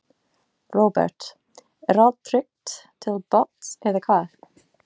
Róbert: Er allt tryggt til botns eða hvað?